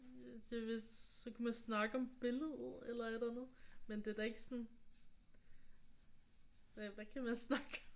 Det er vist så kan man snakke om billedet eller et eller andet. Men det er ikke sådan hvad hvad kan man snakke om?